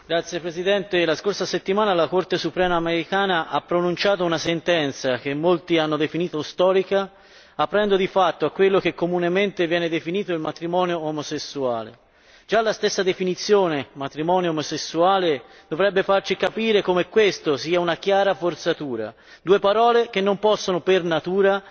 Signor Presidente, onorevoli colleghi, la scorsa settimana la Corte suprema americana ha pronunciato una sentenza che in molti hanno definito storica, aprendo di fatto a quello che comunemente viene definito il matrimonio omosessuale. Già la stessa definizione matrimonio omosessuale dovrebbe farci capire come questa sia una chiara forzatura due parole che non possono, per natura,